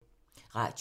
Radio 4